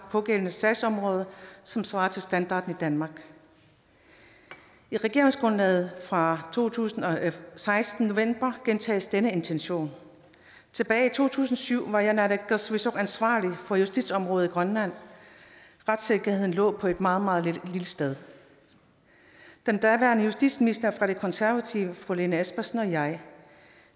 pågældende sagsområde som svarer til standarden i danmark i regeringsgrundlaget fra to tusind og seksten gentages denne intention tilbage i to tusind og syv var jeg i naalakkersuisut ansvarlig for justitsområdet i grønland retssikkerheden lå på et meget meget lille sted den daværende justitsminister fra de konservative fru lene espersen og jeg